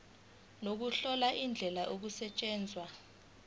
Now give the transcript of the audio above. nokuhlola indlela okusetshenzwa